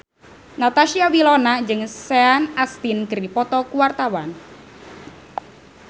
Natasha Wilona jeung Sean Astin keur dipoto ku wartawan